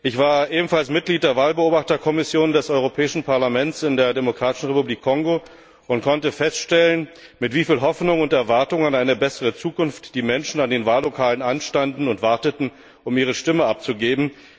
Ich war ebenfalls Mitglied der Wahlbeobachterkommission des Europäischen Parlaments in der Demokratischen Republik Kongo und konnte feststellen, mit wie vielen Hoffnungen und Erwartungen an eine bessere Zukunft die Menschen an den Wahllokalen anstanden und warteten, um ihre Stimme abzugeben.